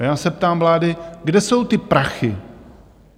A já se ptám vlády, kde jsou ty prachy?